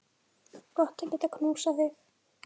Gott að geta knúsað þig.